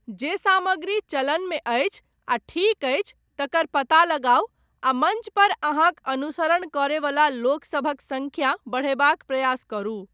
जे सामग्री चलनमे अछि आ ठीक अछि तकर पता लगाउ आ मञ्च पर अहाँक अनुसरण करयवला लोकसभक सङ्ख्या बढ़यबाक प्रयास करू।